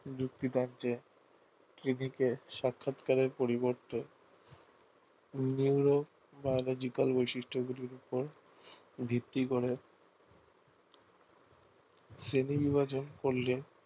যুক্তি কার্যে clinic এ সাক্ষাৎকারের পরিবর্তে neurobiological বৈশিষ্ট গুলির উপর ভিত্তি করে শ্রেণী বিভাজন করলে